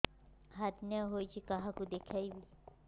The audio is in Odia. ହାର୍ନିଆ ହୋଇଛି କାହାକୁ ଦେଖେଇବି